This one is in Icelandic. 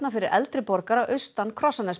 fyrir eldri borgara austan